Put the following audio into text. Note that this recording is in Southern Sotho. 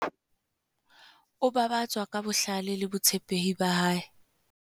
o babatswa ka bohlale le botshepehi ba hae